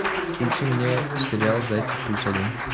включи мне сериал зайцев плюс один